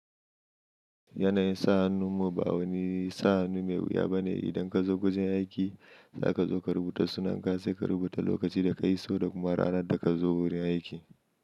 Yanayin sa hannu ba wani sa hannu mai wuya ba ne. Idan ka zo gujin aiki, za ka zo ka rubuta sunanka, sai ka rubuta lokacin da ka iso da kuma ranar da ka zo gurin aiki.